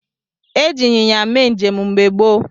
Eji ịnyịnya mee njem mgbe gboo.